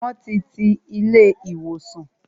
Won ti ti ilé ìwòsàn